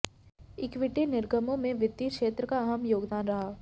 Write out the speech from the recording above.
equity निर्गमों में वित्तीय क्षेत्र का अहम योगदान रहा